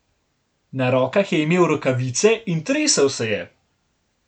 Na rokah je imel rokavice in tresel se je.